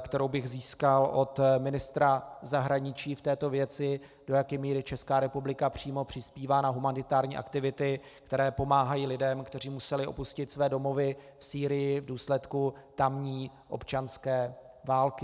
kterou bych získal od ministra zahraničí v této věci, do jaké míry Česká republika přímo přispívá na humanitární aktivity, které pomáhají lidem, kteří museli opustit své domovy v Sýrii v důsledku tamní občanské války.